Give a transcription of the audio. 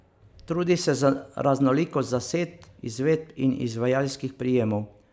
Trudi se za raznolikost zasedb, izvedb in izvajalskih prijemov.